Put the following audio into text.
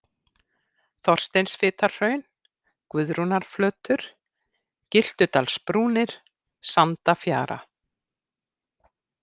Þorsteinsfitarhraun, Guðrúnarflötur, Gyltudalsbrúnir, Sandafjara